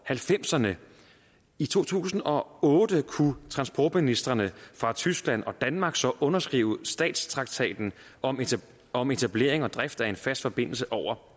halvfemserne i to tusind og otte kunne transportministrene fra tyskland og danmark så underskrive statstraktaten om om etablering og drift af en fast forbindelse over